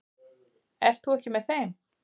Ert þú ekki með þeim?